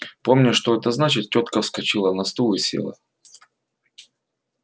помня что это значит тётка вскочила на стул и села